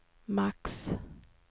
max